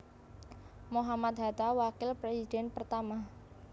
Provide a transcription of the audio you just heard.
Mohammad Hatta Wakil Presiden pertama